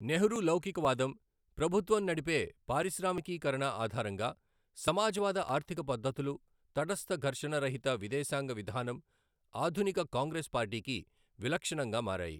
నెహ్రూ లౌకికవాదం, ప్రభుత్వం నడిపే పారిశ్రామికీకరణ ఆధారంగా సమాజవాద ఆర్థిక పద్ధతులు, తటస్థ, ఘర్షణ రహిత విదేశాంగ విధానం ఆధునిక కాంగ్రెస్ పార్టీకి విలక్షణంగా మారాయి.